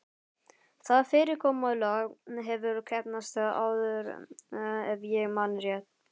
Það fyrirkomulag hefur heppnast áður- ef ég man rétt.